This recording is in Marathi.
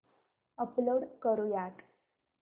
अपलोड करुयात